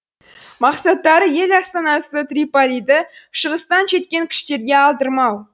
мақсаттары ел астанасы триполиді шығыстан жеткен күштерге алдырмау